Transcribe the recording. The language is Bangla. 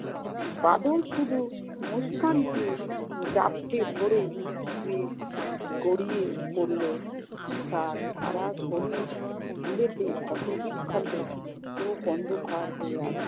বাদল শুধু মুস্কানকে ঝাপটে ধরে সে গড়িয়ে পড়ল। তার সারা শরীর বুলেটে ক্ষতবিক্ষত, চোখ অন্ধকার হয়ে আসছে।